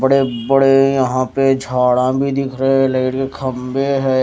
बड़े बड़े यहां पे झाड़ा भी दिख रहे है लाइट के खंभे है।